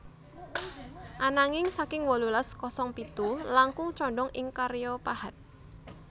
Ananging saking wolulas kosong pitu langkung condong ing karya pahat